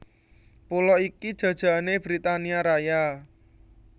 Pulo iki jajahané Britania Raya